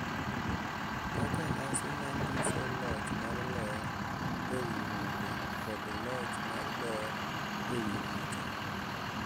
Kaka nyasi manyiso loch mar ler ewi mudho kod loch mar ber ewi richo,